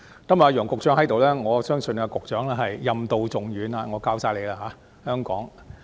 今天楊局長也在席，我相信他是任重道遠，香港全靠他。